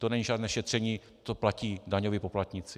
To není žádné šetření, to platí daňoví poplatníci.